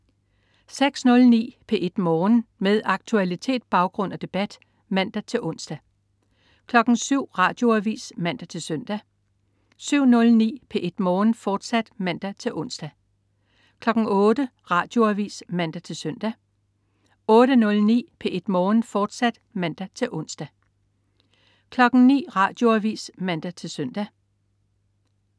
06.09 P1 Morgen. Med aktualitet, baggrund og debat (man-ons) 07.00 Radioavis (man-søn) 07.09 P1 Morgen, fortsat (man-ons) 08.00 Radioavis (man-søn) 08.09 P1 Morgen, fortsat (man-ons) 09.00 Radioavis (man-søn)